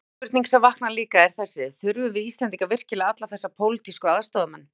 Önnur spurning sem vaknar líka, er þessi: Þurfum við Íslendingar virkilega alla þessa pólitísku aðstoðarmenn?